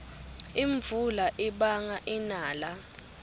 imvula ibanga inala